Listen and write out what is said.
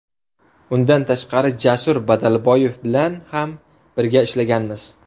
Undan tashqari Jasur Badalboyev bilan ham birga ishlaganmiz.